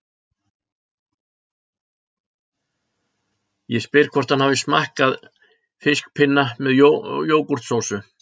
Ég spyr hvort hann hafi smakkað fiskpinna með jógúrtsósu